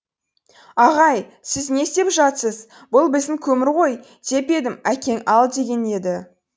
ағай сіз не істеп жатсыз бұл біздің көмір ғой деп едім әкең ал деген еді